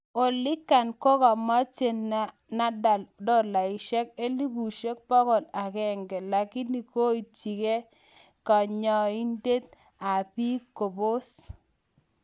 oligan kogamache Nadal dolaisieg elibusieg pogol agenge lakini kotienkee kanyitenig ab piik kobos